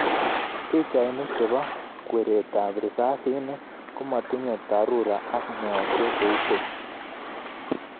Pichainik chebo kweret ab risasinik komatinye dharura ak meosiek kou keny